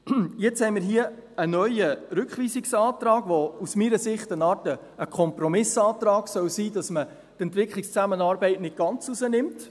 Jetzt haben wir hier einen neuen Rückweisungsantrag, der aus meiner Sicht eine Art Kompromissantrag sein soll, damit man die Entwicklungszusammenarbeit nicht ganz herausnimmt.